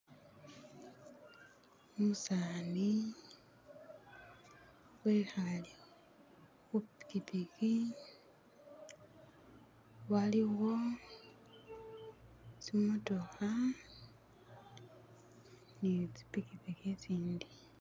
umusaani wehale hu pikipiki, waliwo tsimotooha ni tsi pikipiki I tsindi